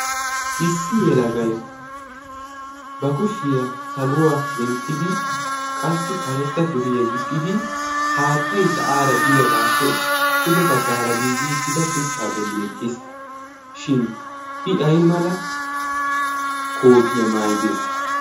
issi yelagai ba kushiyaa saluwaa denttidi qassi karetta suriyaa gixxidi haattai sa'aara biyaagaappe pude baggaara giigi uttida shuchchaa bolli eqqiis. shin i ay mala kootiyaa maayide?